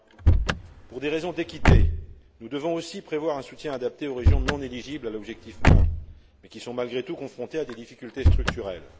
1. Pour des raisons d'équité, nous devons aussi prévoir un soutien adapté aux régions non éligibles à l'objectif 1, mais qui sont, malgré tout, confrontées à des difficultés structurelles.